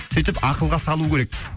сөйтіп ақылға салу керек